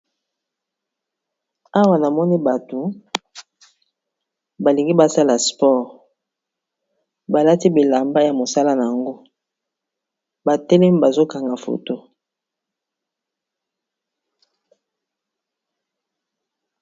Awa na moni bato balingi basala spore balati bilamba ya mosala na yango batelemi bazokanga foto